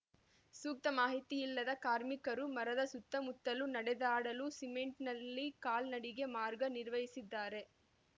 ಸೂಕ್ತ ಮಾಹಿತಿ ಇಲ್ಲದ ಕಾರ್ಮಿಕರು ಮರದ ಸುತ್ತಮುತ್ತಲು ನಡೆದಾಡಲು ಸಿಮೆಂಟ್‌ನಲ್ಲಿ ಕಾಲ್ನಡಿಗೆ ಮಾರ್ಗನಿರ್ವಹಿಸಿದ್ದಾರೆ